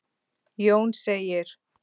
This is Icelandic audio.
Jón segir